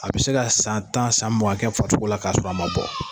A bi se ka san tan san mugan kɛ farisogo la k'a sɔrɔ a ma bɔ.